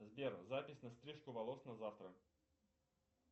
сбер запись на стрижку волос на завтра